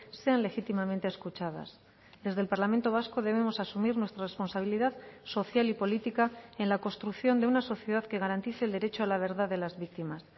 sean legítimamente escuchadas desde el parlamento vasco debemos asumir nuestra responsabilidad social y política en la construcción de una sociedad que garantice el derecho a la verdad de las víctimas